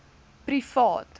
privaat